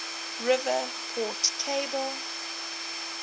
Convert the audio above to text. river port capable